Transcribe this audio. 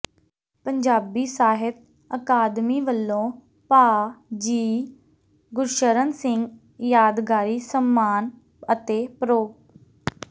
ਪੰਜਾਬੀ ਸਾਹਿਤ ਅਕਾਦਮੀ ਵੱਲੋਂ ਭਾਅ ਜੀ ਗੁਰਸ਼ਰਨ ਸਿੰਘ ਯਾਦਗਾਰੀ ਸਨਮਾਨ ਅਤੇ ਪ੍ਰੋ